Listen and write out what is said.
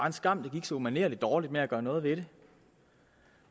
en skam at det gik så umanerlig dårligt med at gøre noget ved det